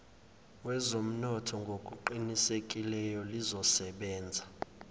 wezomnotho ngokuqinisekileyo lizosebenza